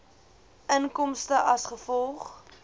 inkomste as gevolg